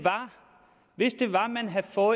for